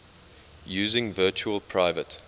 using virtual private